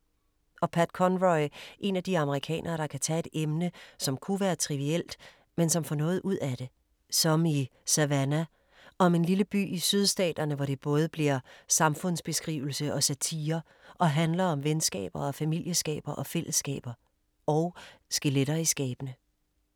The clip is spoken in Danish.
Og Pat Conroy, en af de amerikanere, der kan tage et emne, som kunne være trivielt, men som får noget ud af det. Som i Savannah om en lille by i sydstaterne, hvor det bliver både samfundsbeskrivelse og satire og handler om venskaber og familieskaber og fællesskaber. Og skeletter i skabene.